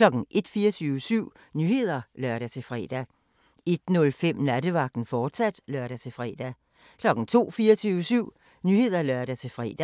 01:00: 24syv Nyheder (lør-fre) 01:05: Nattevagten, fortsat (lør-fre) 02:00: 24syv Nyheder (lør-fre)